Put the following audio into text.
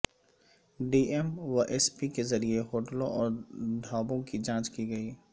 D M و S P کے ذریعہ ہوٹلوں اور ڈھابوں کی جانچ کی گئی